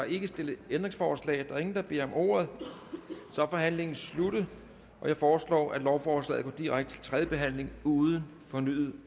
ikke stillet ændringsforslag der er ingen der beder om ordet og så er forhandlingen sluttet jeg foreslår at lovforslaget går direkte til tredje behandling uden fornyet